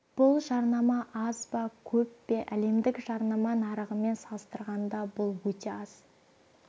бұл жарнама аз ба көп пе әлемдік жарнама нарығымен салыстырғанда бұл өте аз